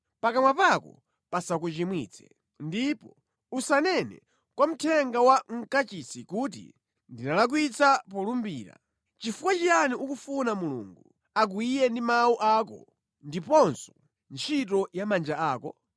Pakamwa pako pasakuchimwitse. Ndipo usanene kwa mthenga wa mʼNyumba ya Mulungu kuti, “Ndinalakwitsa polumbira.” Chifukwa chiyani ukufuna Mulungu akwiye ndi mawu ako ndiponso ntchito ya manja ako?